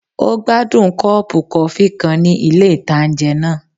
Ó gbádùn kọ́ọ̀pù kọfí kan ní ilé-ìtánjẹ náà